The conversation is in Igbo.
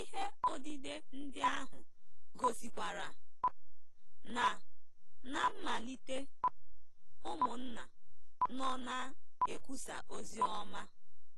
Ihe odide ndị ahụ gosikwara na ná mmalite, ụmụnna nọ na-ekwusa ozi ọma.